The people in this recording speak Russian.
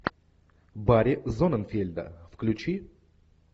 барри зонненфельда включи